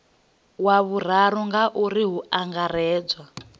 wa vhuraru ngauri hu angaredzwa